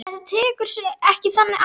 Þetta tekur ekki þannig á.